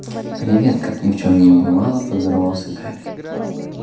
привет как ни в чем не бывало поздоровался гарри